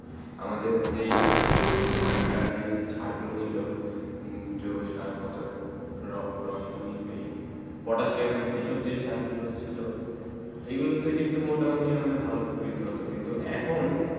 আমাদের যেই আগে কার যেই চার গুলু ছিল যেবছৰ পচয়ে রোসায়েনিক এই পটাসিয়াম এই সব যে চার গুলু ছিল এই গুলু তে কিন্তু মোটা মতি ভালো প্রুরিটা হতো কিন্তু এখন